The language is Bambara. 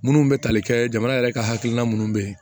Minnu bɛ tali kɛ jamana yɛrɛ ka hakilina minnu bɛ yen